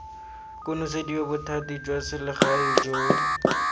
konosediwa bothati jwa selegae jo